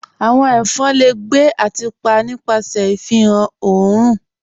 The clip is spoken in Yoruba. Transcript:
"Awọn ẹfọn le gbẹ̀ ati pa nipasẹ̀ ifihan ọ̀orun